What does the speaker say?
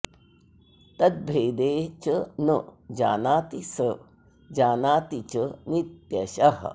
तद्भेदे च न जानाति स जानाति च नित्यशः